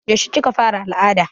Yaushe kika fara al'ada?